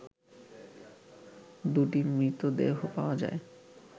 দুটি মৃতদেহ পাওয়া যায়